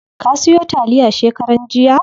Ka siyo taliya shekaran jiya?